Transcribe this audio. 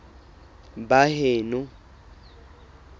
baheno